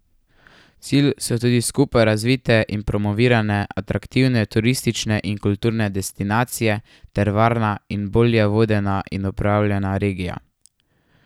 Cilj so tudi skupaj razvite in promovirane atraktivne turistične in kulturne destinacije ter varna in bolje vodena in upravljana regija.